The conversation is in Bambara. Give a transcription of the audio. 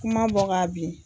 Kuma bɔ ka bin.